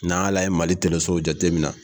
N'an y'a lajɛ Mali telesow jateminɛ